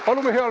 Palun!